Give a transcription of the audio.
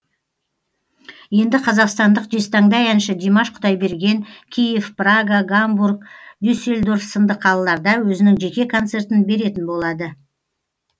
енді қазақстандық жезтаңдай әнші димаш құдайберген киев прага гамбург дюсельдорф сынды қалаларда өзінің жеке концертін беретін болады